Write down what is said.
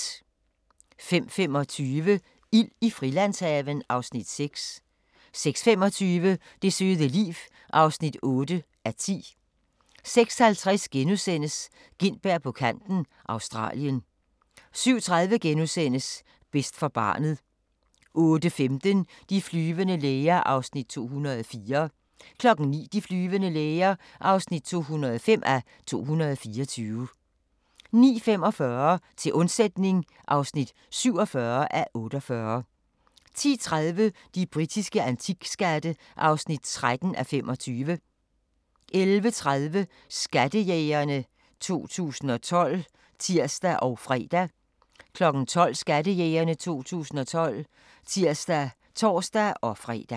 05:25: Ild i Frilandshaven (Afs. 6) 06:25: Det søde liv (8:10) 06:50: Gintberg på kanten – Australien * 07:30: Bedst for barnet * 08:15: De flyvende læger (204:224) 09:00: De flyvende læger (205:224) 09:45: Til undsætning (47:48) 10:30: De britiske antikskatte (13:25) 11:30: Skattejægerne 2012 (tir og fre) 12:00: Skattejægerne 2012 (tir og tor-fre)